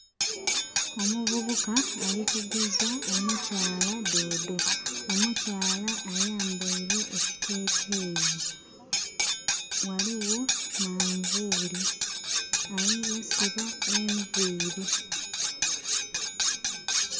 Omuvubuka alikuguza omukyala doodo. Omukyala ayambaire ekiteteyi. Waliwo manvuli. ayi yasiba enviri